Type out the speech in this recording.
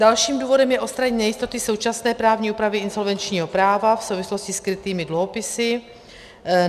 Dalším důvodem je odstranění nejistoty současné právní úpravy insolvenčního práva v souvislosti s krytými dluhopisy.